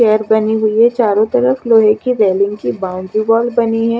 Chair बनी हुई है चारो तरफ लोहे कि रेलिंग कि बाउंड्री बोल बनी है।